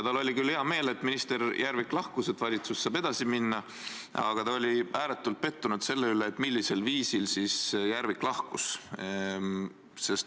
Tal oli küll hea meel, et minister Järvik lahkus ja valitsus saab edasi minna, aga ta oli ääretult pettunud selle pärast, millisel viisil Järvik lahkus.